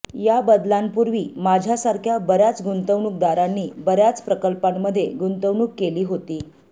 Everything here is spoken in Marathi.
या बदलांपूर्वी माझ्यासारख्या बर्यािच गुंतवणूकदारांनी बर्या च प्रकल्पांमध्ये गुंतवणूक केली होती